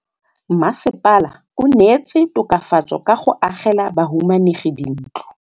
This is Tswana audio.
Mmasepala o neetse tokafatsô ka go agela bahumanegi dintlo.